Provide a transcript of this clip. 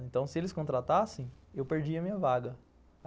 Então, se eles contratassem, eu perdia a minha vaga.